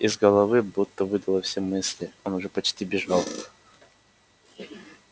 из головы будто выдуло все мысли он уже почти бежал